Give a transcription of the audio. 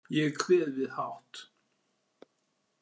Ég kveð við hátt.